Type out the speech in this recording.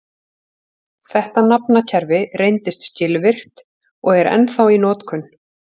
Þetta nafnakerfi reyndist skilvirkt og er ennþá í notkun.